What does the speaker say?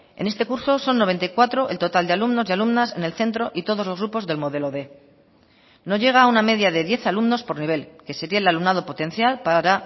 en este curso son noventa y cuatro el total de alumnos y alumnas en el centro y todos los grupos del modelo quinientos no llega a una media de diez alumnos por nivel que sería el alumnado potencial para